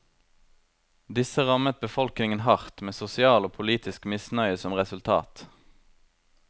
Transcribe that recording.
Disse rammet befolkningen hardt, med sosial og politisk misnøye som resultat.